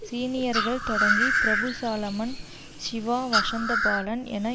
சீனியர்கள் தொடங்கி பிரபு சாலமன் சிவா வசந்தபாலன் என